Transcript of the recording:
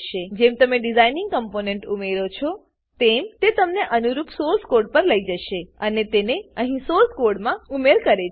જેમ તમે ડીઝાઈનમાં કમ્પોનેંટ ઉમેરો છો તેમ તે તમને અનુરૂપ સોર્સ કોડ પર લઇ જશે અહીં સોર્સ કોડમાં ઉમેર કરે છે